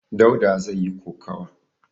Dauda zai yi kokawa.